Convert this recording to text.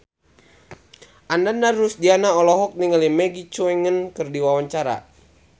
Ananda Rusdiana olohok ningali Maggie Cheung keur diwawancara